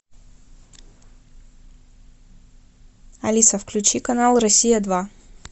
алиса включи канал россия два